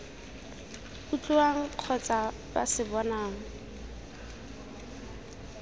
utlwang kgotsa ba se bonang